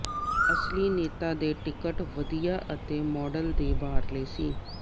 ਅਸਲੀ ਨੇਤਾ ਦੇ ਟਿਕਟ ਵਧੀਆ ਅਤੇ ਮਾਡਲ ਦੇ ਬਾਹਰਲੇ ਸੀ